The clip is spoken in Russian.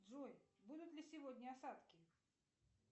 джой будут ли сегодня осадки